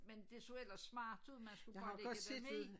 Men det så ellers smart ud man skulle bare lægge dem i